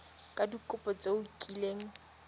ka dikopo tse o kileng